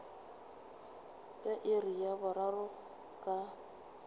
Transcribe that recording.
ka iri ya boraro ka